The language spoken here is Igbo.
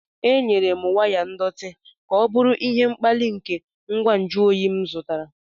Enyere m waya ndọtị ka ọ bụrụ ihe mkpali nke ngwa nju oyi m zụtara.